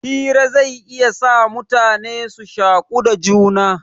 Hira zai iya sa mutane su shaku da juna.